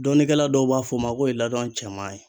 Dɔnnikɛla dɔw b'a fɔ o ma k'o ye ladɔn cɛman ye.